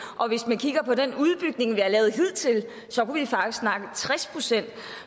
og hvis man kigger på den udbygning vi har lavet hidtil så kunne vi faktisk snakke tres procent